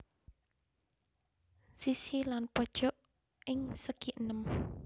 Sisi lan pojok ing segienem